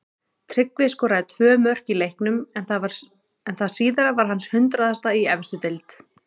Tryggvi skoraði tvö mörk í leiknum en það síðara var hans hundraðasta í efstu deild.